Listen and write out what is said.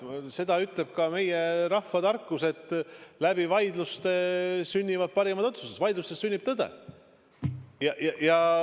Seda ütleb ka meie rahvatarkus, et vaidlustes sünnivad parimad otsused, vaidlustes sünnib tõde.